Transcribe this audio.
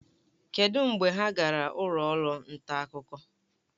Kedụ mgbe ha gara ụlọ ọrụ nta akụkọ?